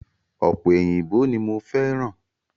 Ope òyìnbó ní mo fẹ́ràn